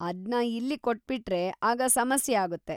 ಅದ್ನ ಇಲ್ಲಿ ಕೊಟ್ಬಿಟ್ರೆ ಆಗ ಸಮಸ್ಯೆ ಆಗುತ್ತೆ.